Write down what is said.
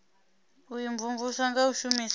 u imvumvusa nga u shumisa